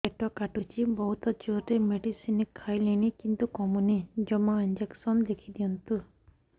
ପେଟ କାଟୁଛି ବହୁତ ଜୋରରେ ମେଡିସିନ ଖାଇଲିଣି କିନ୍ତୁ କମୁନି ଜମା ଇଂଜେକସନ ଲେଖିଦିଅନ୍ତୁ